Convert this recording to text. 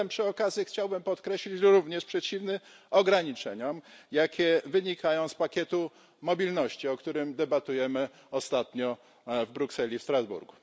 Przy okazji chciałbym podkreślić, że jestem również przeciwny ograniczeniom, jakie wynikają z pakietu mobilności, o którym debatujemy ostatnio w Brukseli i w Strasburgu.